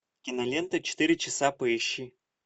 кинолента четыре часа поищи